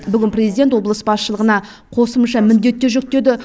бүгін президент облыс басшылығына қосымша міндеттер жүктеді